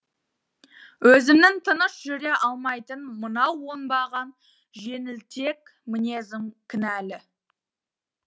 өзімнің тыныш жүре алмайтын мынау оңбаған жеңілтек мінезім кінәлі